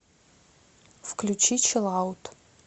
включи чилаут